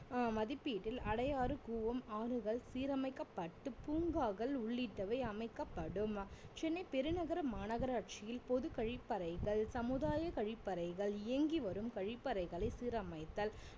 ஆஹ் மதிப்பீட்டில் அடையாறு கூவம் ஆறுகள் சீரமைக்கப்பட்டு பூங்காக்கள் உள்ளிட்டவை அமைக்கப்படும் சென்னை பெருநகர மாநகராட்சியில் பொது கழிப்பறைகள் சமுதாய கழிப்பறைகள் இயங்கி வரும் கழிப்பறைகளை சீரமைத்தல்